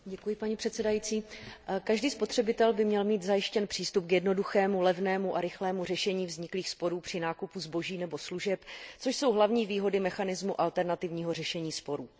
Vážená paní předsedající, každý spotřebitel by měl mít zajištěn přístup k jednoduchému, levnému a rychlému řešení vzniklých sporů při nákupu zboží nebo služeb, což jsou hlavní výhody mechanismu alternativního řešení sporů.